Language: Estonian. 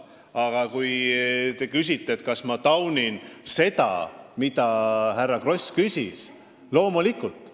Aga kui te küsite, kas ma taunin seda, mille kohta härra Kross küsis, siis jah, loomulikult.